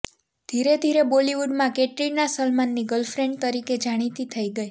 ધીરે ધીરે બોલીવુડમાં કેટરીના સલમાનની ગર્લફ્રેંડ તરીકે જાણીતી થઈ ગઈ